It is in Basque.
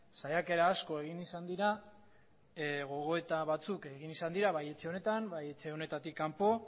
saiakera asko egin izan dira gogoeta batzuk egin izan dira bai etxe honetan bai etxe honetatik kanpo